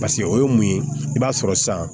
Paseke o ye mun ye i b'a sɔrɔ sisan